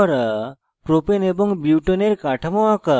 propane এবং বিউটেনের কাঠামো আঁকা